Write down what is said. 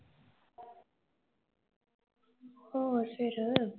ਹੋਰ ਫਿਰ?